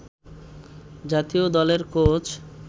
জাতীয় দলের কোচ